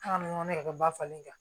ne yɛrɛ ka bafalen ka